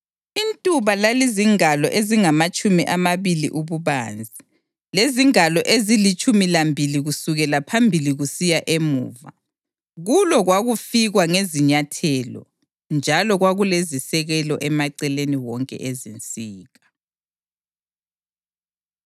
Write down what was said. Intuba lalizingalo ezingamatshumi amabili ububanzi, lezingalo ezilitshumi lambili kusukela phambili kusiya emuva. Kulo kwakufikwa ngezinyathelo, njalo kwakulezisekelo emaceleni wonke ezinsika.